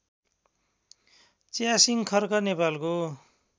च्यासिङ खर्क नेपालको